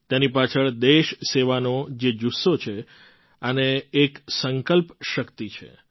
તેની પાછળ દેશસેવાનો જે જુસ્સો છે અને એક સંકલ્પ શક્તિ છે